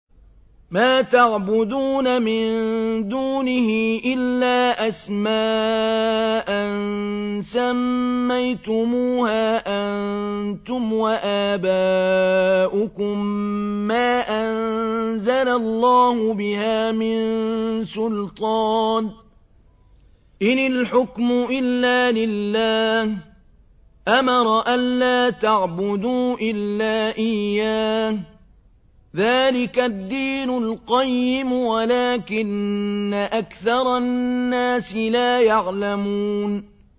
مَا تَعْبُدُونَ مِن دُونِهِ إِلَّا أَسْمَاءً سَمَّيْتُمُوهَا أَنتُمْ وَآبَاؤُكُم مَّا أَنزَلَ اللَّهُ بِهَا مِن سُلْطَانٍ ۚ إِنِ الْحُكْمُ إِلَّا لِلَّهِ ۚ أَمَرَ أَلَّا تَعْبُدُوا إِلَّا إِيَّاهُ ۚ ذَٰلِكَ الدِّينُ الْقَيِّمُ وَلَٰكِنَّ أَكْثَرَ النَّاسِ لَا يَعْلَمُونَ